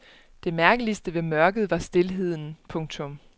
Det mærkeligste ved mørket var stilheden. punktum